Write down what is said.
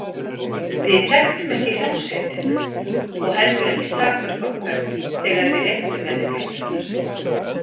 Við þekktum ekki hljómsveitina og heldur ekki takmörk okkar þegar við reyktum með þeim jónurnar.